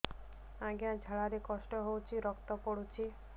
ଅଜ୍ଞା ଝାଡା ରେ କଷ୍ଟ ହଉଚି ରକ୍ତ ପଡୁଛି